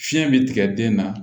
Fiɲɛ be tigɛ den na